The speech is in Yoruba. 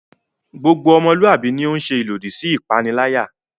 Gbogbo ọmọluwạbi ni o ń ṣe ilodi si ipanilaya